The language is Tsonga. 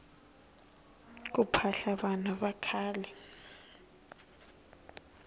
ku phahla vanhu vakhale